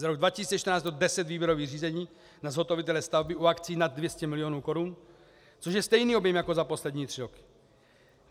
Za rok 2014 bylo 10 výběrových řízení na zhotovitele stavby u akcí nad 200 milionů korun, což je stejný objem jako za poslední tři roky.